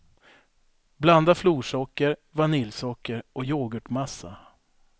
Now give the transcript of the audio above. Blanda florsocker, vaniljsocker och yoghurtmassa.